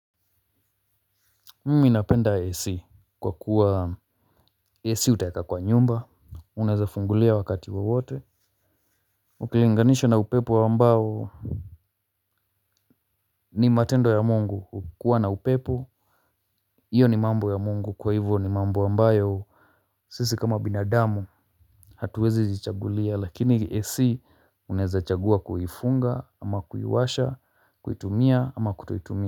Mimi napenda ASC kwa kuwa AC utaweka kwa nyumba. Unaweza fungulia wakati wowote. Ukilinganisha na upepo ambao ni matendo ya mungu kukuwa na upepo hiyo ni mambo ya mungu kwa hivyo ni mambo ambao sisi kama binadamu hatuwezi jichagulia lakini AC Unaweza chagua kulifunga ama kuliwasha kulitumia ama kutolitumia.